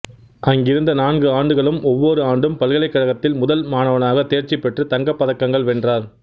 அங்கிருந்த நான்கு ஆண்டுகளும் ஒவ்வொரு ஆண்டும் பல்கலைக்கழகத்தில் முதல் மாணவனாக தேர்ச்சிபெற்று தங்கப் பதக்கங்கள் வென்றார்